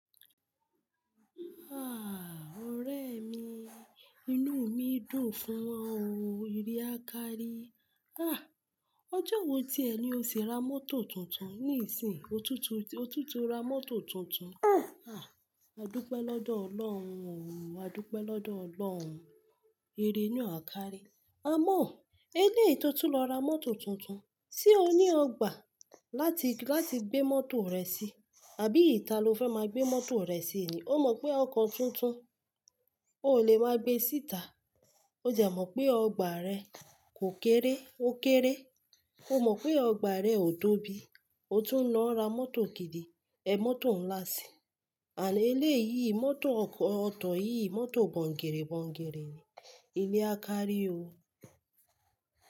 Ah! Ore mi, inu mi dun fun o. Ire a kari. Ah! Ọjọ wo ti ẹ ni o ti ra mọto tuntun? Nisi, otutu, otutu ra mọto tuntun. Ah! Ah! Adupe lọdọ ọlọrun o o o Adupe lọdọ ọlọrun. Ire naa a kari. Amo! Eleyi tọ tun lọ ra mọto tuntun, se o ni ọgba lati, lati gbe mọto rẹ si, abi ita lo fẹ maa gbe mọto rẹ si ni? O mọ pe ọkọ tuntun, o le ma gbe sita. O jẹ mọ pe ọgba rẹ ko kere, o kere. O mọ pe ọgba rẹ o tobi, o tun lọ ra mọto gidi, e mọto nla si. Amo eleyi mọto ọkọ, ọko yi mọto boginibogini ni. Ire a kari o.